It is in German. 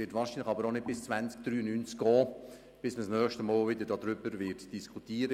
Aber wahrscheinlich wird man hier auch nicht erst im Jahr 2093 das nächste Mal wieder darüber diskutieren.